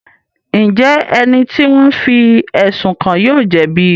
Njẹ ẹni ti wọn fí ẹsun kàn yóò jẹbi?